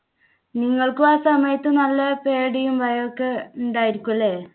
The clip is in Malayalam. നിങ്ങൾക്ക് ആ സമയത്ത് നല്ല പേടിയും ഭയവും ഒക്കെ ഉണ്ടായിരിക്കും ല്ലേ?